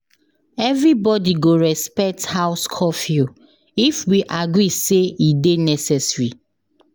Everybody go respect house curfew if we agree say e dey necessary.